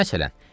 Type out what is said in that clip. Məsələn,